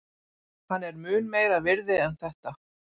Hann er mun meira virði en þetta.